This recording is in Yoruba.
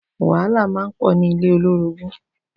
Wàhálá mà n pò ni ilé ólórógùn